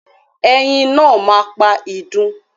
Ẹyin náà ma pa idun.